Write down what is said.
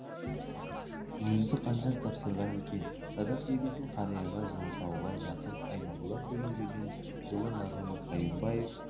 жүзді қанжар тапсырған екен садақ жебесін қарияға жылытауға жақын айнабұлақ деген жерден жылы назымбек қайырбаев